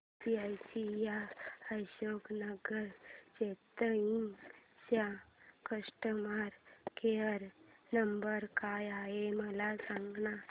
ICICI Ashok Nagar Chennai चा customer care number काय आहे मला सांगाना